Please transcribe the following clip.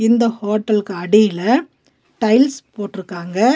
இந்த ஹோட்டல்க்கு அடில டைல்ஸ் போட்ருக்காங்க.